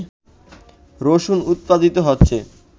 রসুন উৎপাদিত হচ্ছে